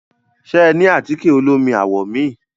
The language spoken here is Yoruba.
Ṣe ẹ ní àtíkẹ̀ olómi àwọ̀ mi?